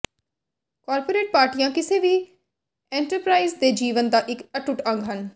corporate ਪਾਰਟੀਆਂ ਕਿਸੇ ਵੀ ਐਂਟਰਪ੍ਰਾਈਜ ਦੇ ਜੀਵਨ ਦਾ ਇੱਕ ਅਟੁੱਟ ਅੰਗ ਹਨ